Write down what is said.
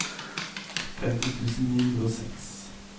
femti tusen ni hundre og seks